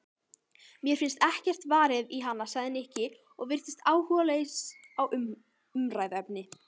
Mér finnst ekkert varið í hana sagði Nikki og virtist áhugalaus á umræðuefninu.